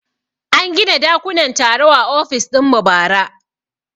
An gina dakunan taro a ofis dinmu bara